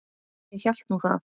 Ég hélt nú það.